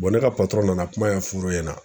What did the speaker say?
ne ka nana kuma ɲɛfur'u ɲɛna